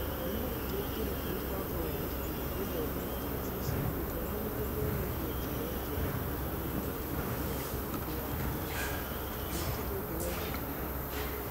Nĩ nagĩkĩro kĩrĩkũ mũbango wa ikundi gũthoma na Terebicenina gũthoma na gũthomithia kĩrekĩra hinya moimĩrĩra ma gĩthomo hĩndĩ ya kĩng'ũki, na nĩkĩĩ ũngĩthoma kuuma ũguo?